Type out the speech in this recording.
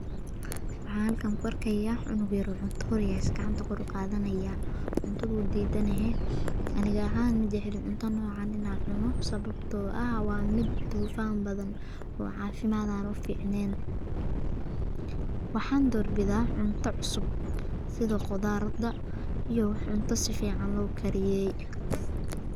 waxaa halkaan ku arkayaa canug yaar oo cunta ureyso gacanta kor uu qaadanayaa cuntada diidanahay aniga ahaan ma jeceli cunta noocan inaa cuno ah waa mid buufaan badan oo caasimada ana u fiicnayn. waxaan doorbidaa cunto cusub sida khudaarta iyo cunto si fiican loo kariyey.